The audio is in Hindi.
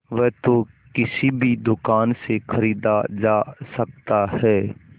वह तो किसी भी दुकान से खरीदा जा सकता है